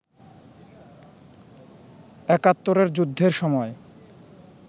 একাত্তরের যুদ্ধের সময়